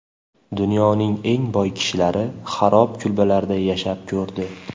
Dunyoning eng boy kishilari xarob kulbalarda yashab ko‘rdi .